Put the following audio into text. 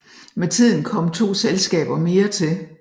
Med tiden kom to selskaber mere til